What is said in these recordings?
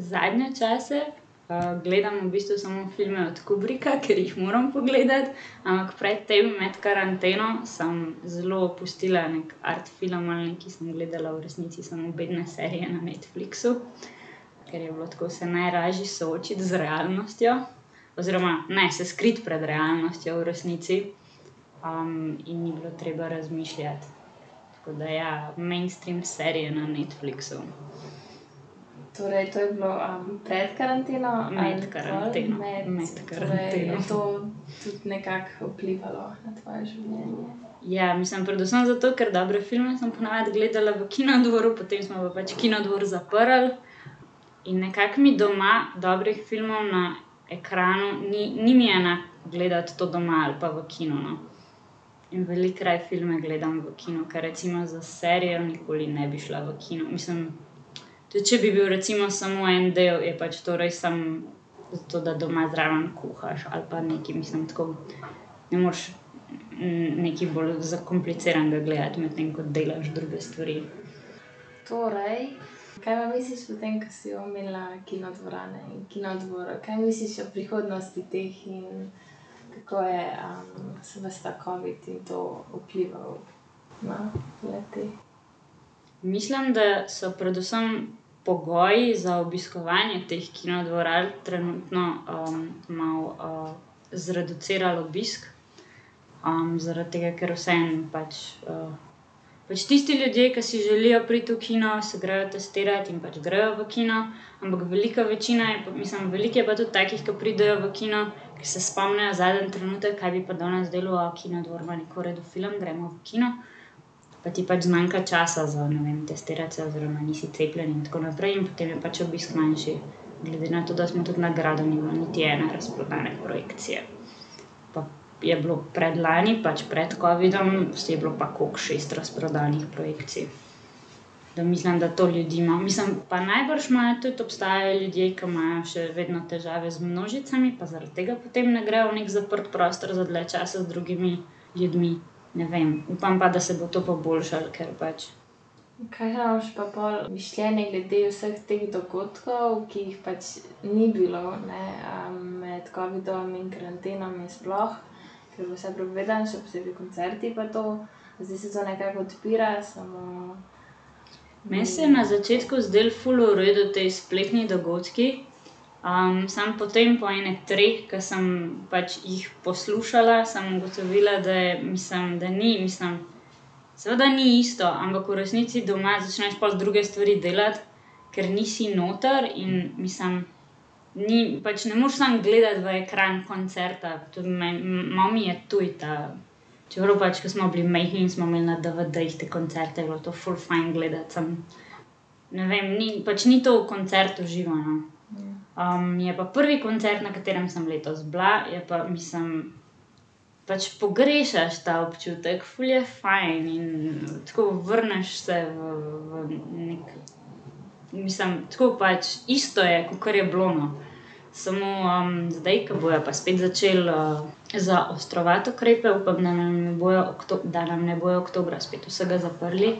Zadnje čase, gledam v bistvu samo filme od Kubricka, ker jih moram pogledati. Ampak pred tem, med karanteno sem zelo opustila neki art film ali nekaj, sem gledala v resnici samo bedne serije na Netflixu, ker je bilo tako se najlažje soočiti z realnostjo. Oziroma ne, se skriti pred realnostjo, v resnici. in ni bilo treba razmišljati. Tako da ja, mainstream serije na Netflixu. Med karanteno. Med karanteno. Ja. Mislim predvsem zato, ker dobre filme sem po navadi gledala v Kinodvoru, potem smo pa pač Kinodvor zaprli in nekako mi doma dobrih filmov na ekranu ni, ni mi enak gledati to doma ali pa v kinu, no. In veliko raje filme gledam v kinu. Ker recimo za serijo nikoli ne bi šla v kino. Mislim, tudi če bi bil recimo samo en del, je pač to res samo zato, da doma zraven kuhaš ali pa nekaj. Mislim tako, ne moreš nekaj bolj zakompliciranega gledati, medtem ko delaš druge stvari. Mislim, da so predvsem pogoji za obiskovanje teh kinodvoran trenutno, malo, zreducirali obisk, zaradi tega, ker vseeno pač, pač tisti ljudje, ke si želijo priti v kino, se grejo testirat in pač grejo v kino, ampak velika večina je mislim, veliko je pa tudi takih, ke pridejo v kino, ke se spomnijo zadnji trenutek: "Kaj bi pa danes delal? Kinodvor ima neki v redu film. Gremo v kino." Pa ti pač zmanjka časa za, ne vem, testirati se oziroma nisi cepljen in tako naprej. In potem je pač obisk manjši. Glede na to, da smo tudi na gradu, ni bilo niti ene razprodane projekcije. Pa je bilo predlani, pač pred covidom, tisto je bilo pa koliko, šest razprodanih projekcij. Da, mislim, da to ljudi malo, mislim, pa najbrž malo tudi obstajajo ljudje, ki imajo še vedno težave z množicami, pa zaradi tega potem ne grejo v neki zaprt prostor za dlje časa z drugimi ljudmi. Ne vem. Upam pa, da se bo to poboljšalo, ker pač ... Meni so se na začetku zdeli ful v redu ti spletni dogodki, samo potem po ene treh, ke sem pač jih poslušala, sem ugotovila, da je, mislim, da ni, mislim, seveda ni isto, ampak v resnici doma začneš pol druge stvari delati, ker nisi noter in, mislim ... Ni, pač ne moreš sam gledati v ekran koncerta. To je meni, malo mi je tuj ta. Čeprav pač, ke smo bili majhni in smo imeli na DVD-jih te koncerte, je bilo to ful fajn gledati. Samo ne vem, ni, pač ni to koncert v živo, no. je pa prvi koncert, na katerem sem letos bila, je pa, mislim, pač pogrešaš ta občutek. Ful je fajn in tako, vrneš se, v neki, mislim, tako pač, isto je, kakor je bilo, no. Samo, zdaj, ke bojo pa spet začeli, zaostrovati ukrepe, upam, da nam ne bojo da nam ne bojo oktobra spet vsega zaprli,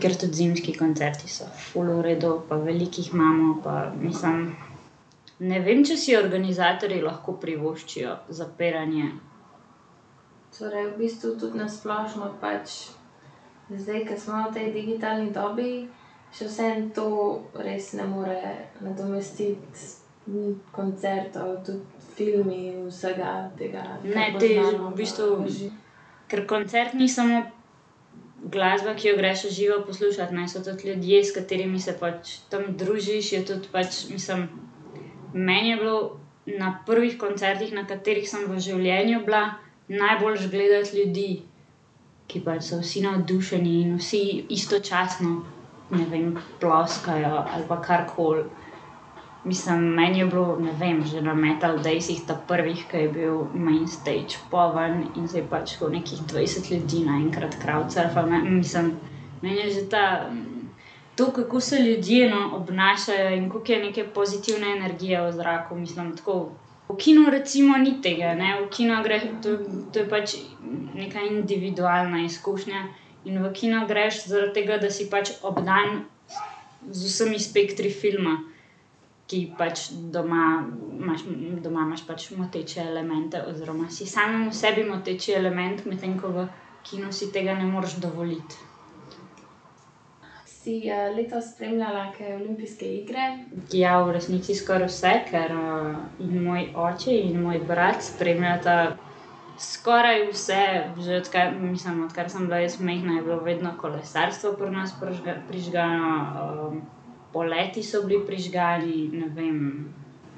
ker tudi zimski koncerti so ful v redu, pa veliko jih imamo pa, mislim. Ne vem, če si organizatorji lahko privoščijo zapiranje. Ne, v bistvu, ker koncert ni samo glasba, ki jo greš v živo poslušat, ne, so tudi ljudje, s katerimi se pač tam družiš, je tudi pač, mislim, meni je bilo na prvih koncertih, na katerih sem v življenju bila, najboljše gledati ljudi, ki pač so vsi navdušeni in vsi istočasno, ne vem, ploskajo ali pa karkoli. Mislim, meni je bilo, ne vem, že na Metal daysih ta prvih, ke je bil main stage poln, in se je pač tako nekih dvajset ljudi naenkrat crowdsurfalo, ne. Mislim, meni je že ta, to, kako se ljudje, no, obnašajo in koliko je neke pozitivne energije v zraku. Mislim, tako, v kinu recimo ni tega, ne. V kino greš, to, to je pač neka individualna izkušnja. In v kino greš zaradi tega, da si pač obdan z vsemi spektri filma, ki pač doma imaš, doma imaš pač moteče elemente oziroma si samemu sebi moteči element, medtem ko v kinu si tega ne moreš dovoliti. Ja, v resnici skoraj vse, ker, moj oči in moj brat spremljata skoraj vse že odkar, mislim, odkar sem bila jaz majhna, je bilo vedno kolesarstvo pri nas prižgano. poleti so bili prižgani. Ne vem,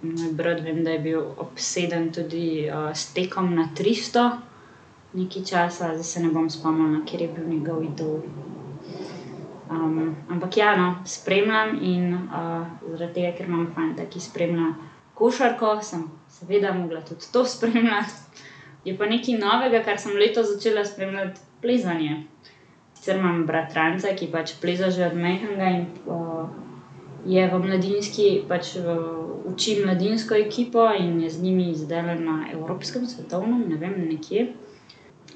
moj brat, vem, da je bil obseden tudi, s tekom na tristo nekaj časa. Zdaj se ne bom spomnila, kateri je bil njegov idol. ampak ja, no, spremljam in, zaradi tega, ker imam fanta, ki spremlja košarko, sem seveda mogla tudi to spremljati. Je pa nekaj novega, kar sem letos začela spremljati, plezanje. Sicer imam bratranca, ki pač pleza že od majhnega, in, je v mladinski pač, uči mladinsko ekipo in je z njimi zdajle na evropskem, svetovnem, ne vem, nekje.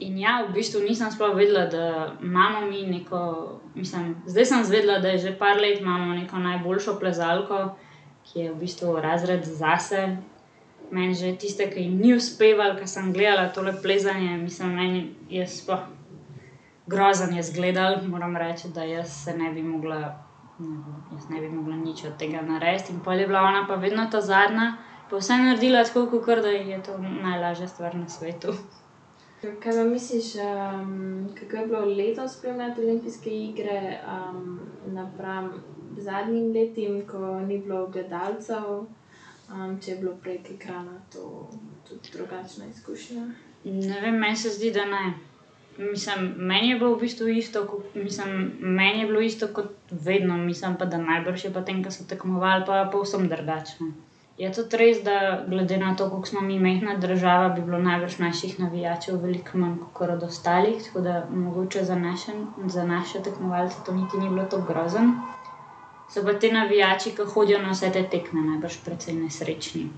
In ja, v bistvu nisem sploh vedela, da imamo mi neko, mislim, zdaj sem izvedela, da že par let imamo neko najboljšo plezalko, ki je v bistvu razred zase. Meni že tiste, ke jim ni uspevalo, ke sem gledala tole plezanje, mislim, meni je, jaz sploh, grozno je izgledalo. Moram reči, da jaz se ne bi mogla, jaz ne bi mogla nič od tega narediti. In pol je bila ona pa vedno ta zadnja, pa vse naredila tako, kakor da ji je to najlažja stvar na svetu. Ne vem. Meni se zdi, da ne. Mislim, meni je bilo v bistvu isto, ko, mislim, meni je bilo isto kot vedno. Mislim pa, da najbrž je pa tem, ke so tekmovali, pa povsem drugače, no. Je tudi res, da glede na to, koliko smo mi majhna država, bi bilo najbrž naših navijačev veliko manj kakor od ostalih. Tako da mogoče za za naše tekmovalce to niti ni bilo tako grozno. So pa ti navijači, ke hodijo na vse te tekme, najbrž precej nesrečni.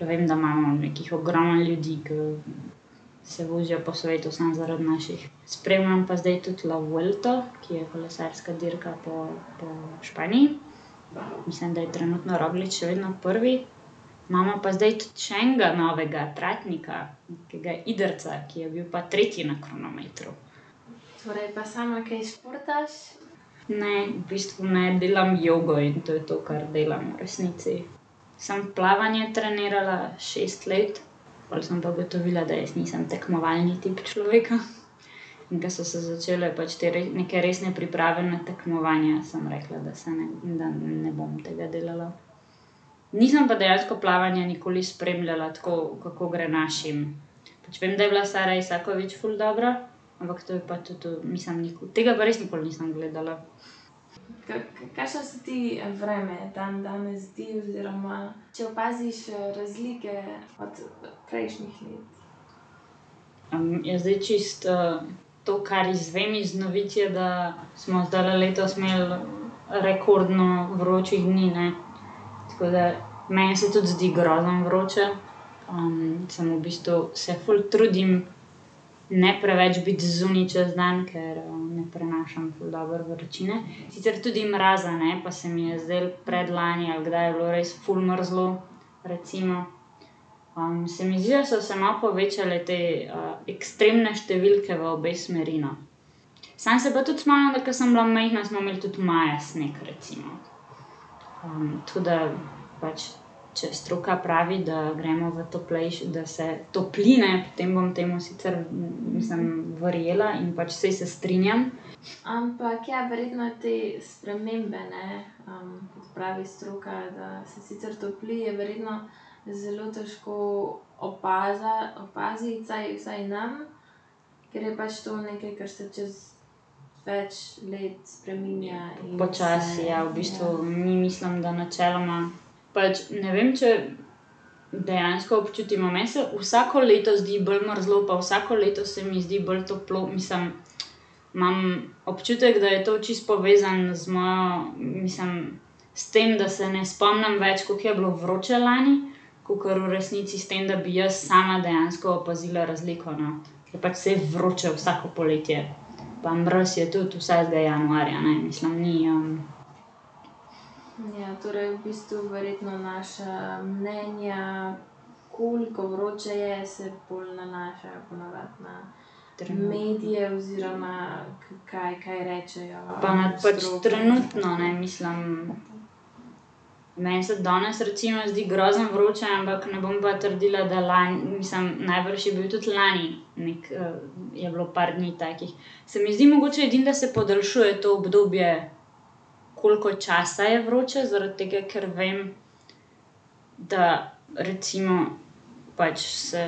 Vem, da imamo nekih ogromno ljudi, ke se vozijo po svetu samo zaradi naših. Spremljam pa zdaj tudi la vuelto, ki je kolesarska dirka po, po Španiji. Mislim, da je trenutno Roglič še vedno prvi. Imamo pa zdaj tudi še enega novega, Tratnika. Nekega Idrijca, ki je bil pa tretji na kronometru. Ne. V bistvu ne. Delam jogo, in to je to, kar delam v resnici. Sem plavanje trenirala šest let, pol sem pa ugotovila, da jaz nisem tekmovalni tip človeka. In ke so začele pač te neke resne priprave na tekmovanja, sem rekla, da se ne, ne, da ne bom tega delala. Nisem pa dejansko plavanja nikoli spremljala tako, kako gre našim. Pač vem, da je bila Sara Isakovič ful dobra, ampak to je pa tudi mislim, tega pa res nikoli nisem gledala. ja, zdaj, čisto, to, kar izvem iz novic, je, da smo zdajle letos imeli rekordno vročih dni, ne. Tako da meni se tudi zdi grozno vroče. samo v bistvu se ful trudim ne preveč biti zunaj čez dan, ker, ne prenašam ful dobro vročine. Sicer tudi mraza ne, pa se mi je zdelo predlani, ali kdaj je bilo, res ful mrzlo recimo. se mi zdi, da so se malo povečale te, ekstremne številke v obe smeri, no. Samo se pa tudi spomnim, da ko sem bila majhna, smo imeli tudi maja sneg, recimo. tako da pač če stroka pravi, da gremo v da se topli, ne, potem bom temu sicer, mislim, verjela in pač, saj se strinjam ... Počasi ja. V bistvu mi, mislim, da načeloma pač, ne vem, če dejansko občutimo. Meni se vsako leto zdi bolj mrzlo pa vsako leto se mi zdi bolj toplo. Mislim, imam občutek, da je to čisto povezano z mojo, mislim, s tem, da se ne spomnim več, koliko je bilo vroče lani, kakor v resnici s tem, da bi jaz sama dejansko opazila razliko, no. Ker pač, saj je vroče vsako poletje. Pa mraz je tudi vsakega januarja, ne. Mislim ni, ... Pa na pač trenutno, ne. Mislim, meni se danes recimo zdi grozno vroče, ampak ne bom pa trdila, da lani, mislim, najbrž je bil tudi lani neki, je bilo par dni takih. Se mi zdi mogoče edino, da se podaljšuje to obdobje, koliko časa je vroče, zaradi tega, ker vem, da recimo pač se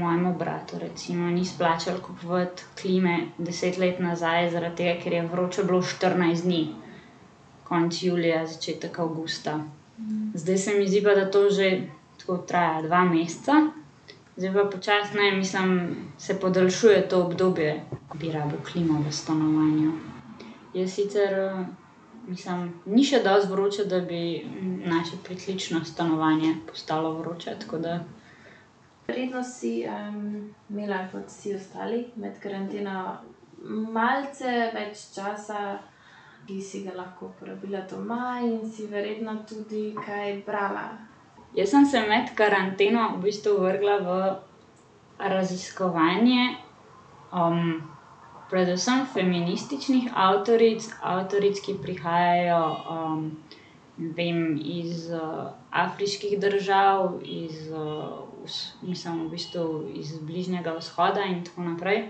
mojemu bratu recimo ni splačalo kupovati klime deset let nazaj, zaradi tega, ker je vroče bilo štirinajst dni. Konec julija, začetek avgusta. Zdaj se mi zdi pa, da to že tako traja dva meseca. Zdaj pa počasi, ne, mislim, se podaljšuje to obdobje, ke bi rabil klimo v stanovanju. Jaz sicer, mislim, ni še dosti vroče, da bi naše pritlično stanovanje postalo vroče, tako da ... Jaz sem se med karanteno v bistvu vrgla v raziskovanje, predvsem feminističnih avtoric, avtoric, ki prihajajo, ne vem, iz, afriških držav, iz, mislim, v bistvu iz Bližnjega vzhoda in tako naprej,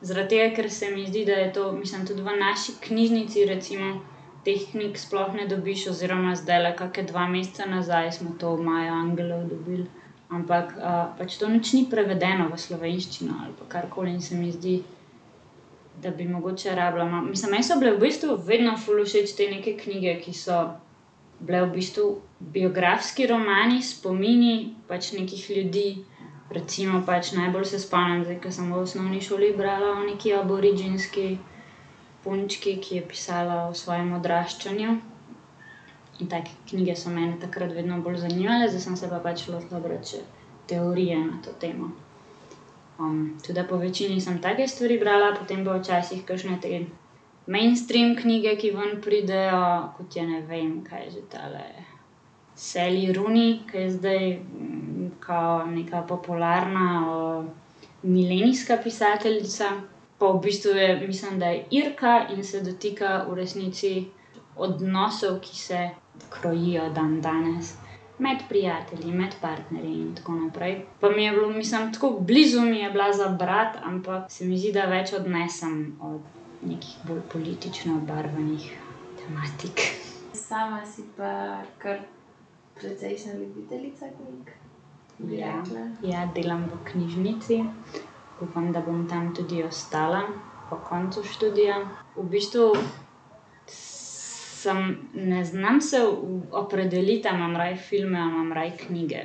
zaradi tega, ker se mi zdi, da je to, mislim, tudi v naši knjižnici recimo teh knjig sploh ne dobiš oziroma zdajle, kakšne dva meseca nazaj, smo to Mayo Angelou dobili. Ampak, pač to nič ni prevedeno v slovenščino ali pa karkoli in se mi zdi, da bi mogoče rabila malo. Mislim, meni so bile v bistvu vedno ful všeč te neke knjige, ki so bile v bistvu biografski romani, spomini pač nekih ljudi. Recimo pač najbolj se spomnim zdaj, ke sem v osnovni šoli brala o nekaj aboriginski punčki, ki je pisala o svojem odraščanju. In take knjige so mene takrat vedno bolj zanimale, zdaj sem se pa pač lotila brati še teorije na to temo. tako da povečini sem take stvari brala, potem pa včasih kakšne te mainstream knjige, ki ven pridejo, kot je, ne vem, kaj je že tale Sally Rooney, ke je zdaj, kao nekaj popularna, milenijska pisateljica. Pa v bistvu je, mislim, da je Irka, in se dotika v resnici odnosov, ki se krojijo dandanes med prijatelji, med partnerji in tako naprej. Pa mi je bilo, mislim tako, blizu mi je bila za brati, ampak se mi zdi, da več odnesem od nekih bolj politično obarvanih tematik. Ja. Ja. Delam v knjižnici. Upam, da bom tam tudi ostala po koncu študija. V bistvu samo, ne znam se opredeliti, a imam raje filme a imam raje knjige.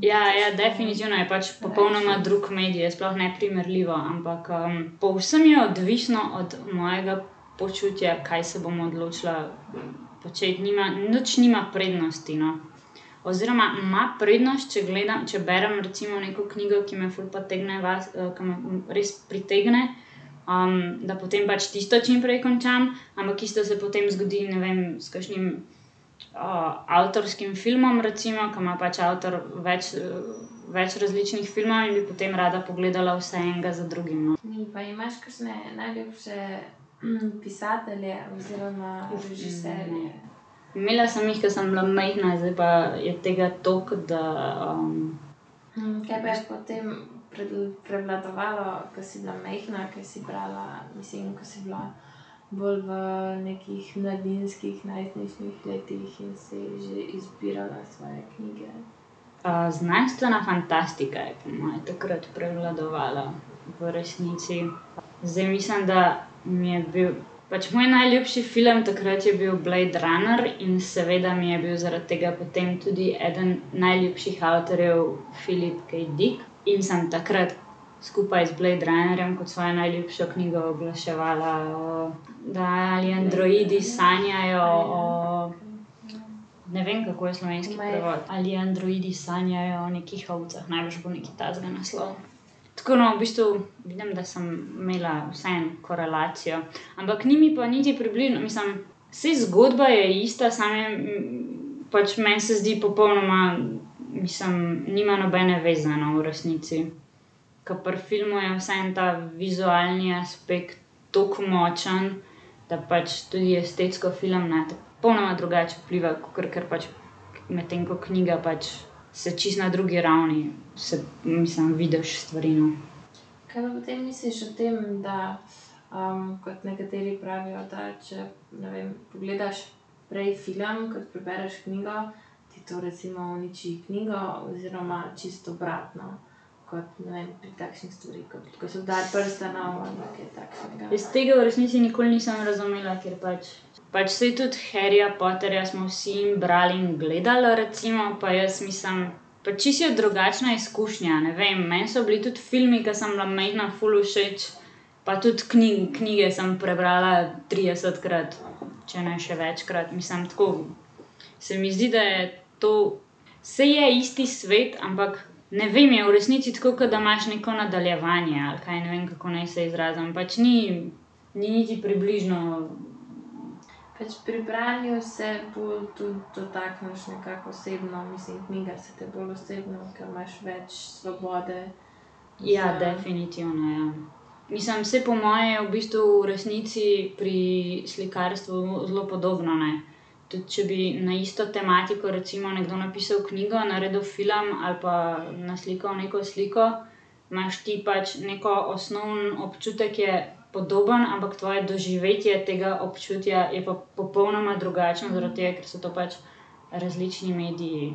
Ja, ja. Definitivno je pač popolnoma drug medij, je sploh neprimerljivo. Ampak, povsem je odvisno od mojega počutja, kaj se bom odločila početi. nič nima prednosti, no. Oziroma ima prednost, če če berem recimo neko knjigo, ki me ful potegne ke me res pritegne, da potem pač tisto čim prej končam. Ampak isto se potem zgodi, ne vem, s kakšnim, avtorskim filmom recimo, ke ima pač avtor več, več različnih filmov, in bi potem rada pogledala vse, enega za drugim, no. Imela sem jih, ke sem bila majhna, zdaj pa je tega toliko, da, ... znanstvena fantastika je po moje takrat prevladovala v resnici. Zdaj mislim, da mi je bil, pač moj najljubši film takrat je bil Blade runner in seveda mi je bil zaradi tega potem tudi eden najljubših avtorjev Philip K. Dick, in sem takrat skupaj z Blade runnerjem kot svojo najljubšo knjigo oglaševala, da Ali androidi sanjajo o, ne vem, kako je slovenski prevod. Ali androidi sanjajo o nekih ovcah? Najbrž bo nekaj takega naslov. Tako, no, v bistvu vidim, da sem imela vseeno korelacijo. Ampak ni mi pa niti mislim, saj zgodba je ista, samo je, pač meni se zdi popolnoma, mislim, nima nobene zveze, no, v resnici. Ke pri filmu je vseeno ta vizualni aspekt toliko močen, da pač tudi estetsko film nate popolnoma drugače vpliva, kakor ker pač, medtem ko knjiga pač se čisto na drugi ravni se, mislim vidiš stvari, no. Jaz tega v resnici nikoli nisem razumela, ker pač, pač saj tudi Harryja Potterja smo vsi in brali in gledali recimo, pa jaz mislim, pač čisto je drugačna izkušnja, ne vem, meni so bili tudi filmi, ke sem bila majhna, ful všeč, pa tudi knjige sem prebrala tridesetkrat, če ne še večkrat. Mislim tako, se mi zdi, da je to, saj je isti svet, ampak ne vem, je v resnici tako, ke da imaš neko nadaljevanje ali kaj. Ne vem, kako naj se izrazim. Pač ni, ni niti približno, ... Ja. Definitivno, ja. Mislim, saj po moje je v bistvu v resnici pri slikarstvu zelo podobno, ne. Tudi če bi na isto tematiko recimo nekdo napisal knjigo, naredil film a pa naslikal neko sliko, imaš ti pač neko, osnovni občutek je podoben, ampak tvoje doživetje tega občutja je pa popolnoma drugačno, zaradi tega, ker so to pač različni mediji.